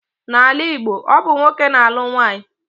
N'ala Igbo, ọ bụ nwoke na-alụ nwaanyị.